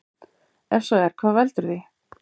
Ef svo er hvað veldur því?